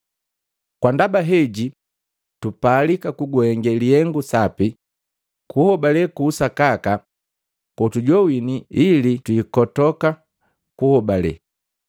Kwandaba heji tupalika kukuhenge lihengu sapi kuhobale ku usakaka kotujowini ili twiikotoka kuhobale.